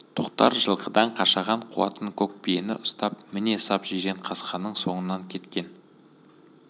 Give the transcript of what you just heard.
тоқтар жылқыдан қашаған қуатын көкбиені ұстап міне сап жиренқасқаның соңынан кеткен